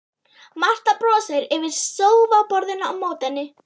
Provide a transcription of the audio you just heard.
Marta brosir yfir sófaborðinu á móti henni.